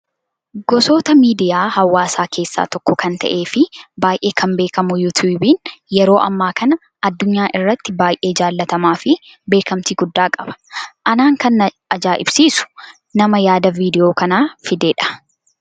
Gosoota miidiyaa hawaasaa keessaa tokko kan ta'ee fi baay'ee kan beekamu yuutuubiin yeroo ammaa kana addunyaa irratti baay'ee jaallatamaa fi beekamtii guddaa qaba. Anaan kan na ajaa'ibsiisu nama yaada viidiyoo kanaa fidedha.